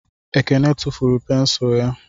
Ekene tufuru pensụl ya